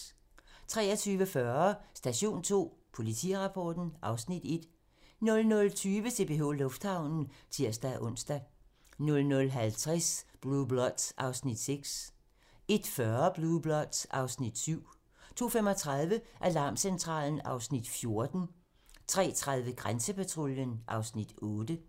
23:40: Station 2: Politirapporten (Afs. 1) 00:20: CPH Lufthavnen (tir-ons) 00:50: Blue Bloods (Afs. 6) 01:40: Blue Bloods (Afs. 7) 02:35: Alarmcentralen (Afs. 14) 03:30: Grænsepatruljen (Afs. 8)